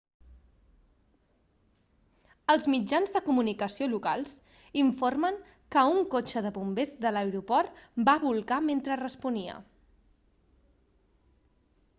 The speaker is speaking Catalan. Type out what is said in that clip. els mitjans de comunicació locals informen que un cotxe de bombers de l'aeroport va bolcar mentre responia